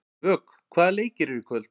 Vök, hvaða leikir eru í kvöld?